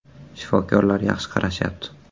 Shifokorlar yaxshi qarashyapti.